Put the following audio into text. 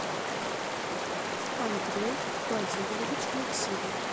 андрей владимирович максимов